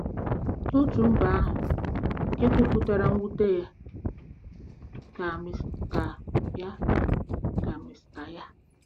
N'otu mba ahụ nke kwupụtara mwute ya, ka Mr ya, ka Mr.